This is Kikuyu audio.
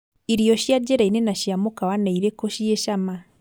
Irio cia njĩrainĩ na cia mũkawa nĩirĩku ciĩ cama